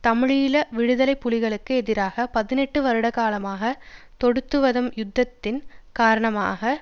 தமிழீழ விடுதலை புலிகளுக்கு எதிராக பதினெட்டு வருடகாலமாக தொடுத்துவரும் யுத்தத்தின் காரணமாக